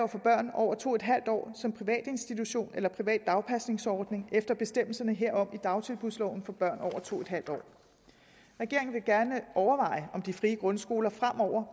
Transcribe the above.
over to en halv år som privat institution eller privat dagpasningsordning efter bestemmelserne herom i dagtilbudsloven for børn over to en halv år regeringen vil gerne overveje om de frie grundskoler fremover